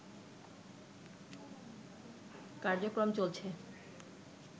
কার্যক্রম চলছে